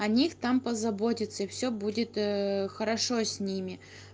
о них там позаботятся и всё будет хорошо с ними